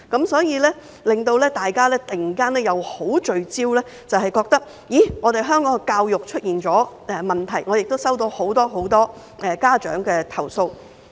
所以，令大家突然十分聚焦並感到香港教育出現問題，我亦收到很多很多家長的投訴。